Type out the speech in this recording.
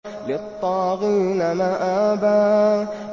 لِّلطَّاغِينَ مَآبًا